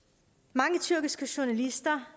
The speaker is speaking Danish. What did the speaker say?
mange tyrkiske journalister